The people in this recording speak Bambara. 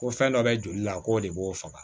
Ko fɛn dɔ bɛ joli la k'o de b'o faga